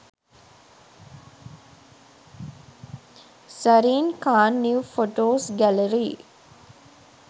zarine khan new photos gallery